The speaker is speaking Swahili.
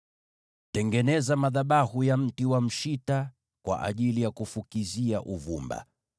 “Tengeneza madhabahu kwa mbao za mshita kwa ajili ya kufukizia uvumba.